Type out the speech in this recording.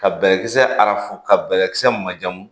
Ka bɛlɛkisɛ arafu ka bɛlɛkisɛ majamu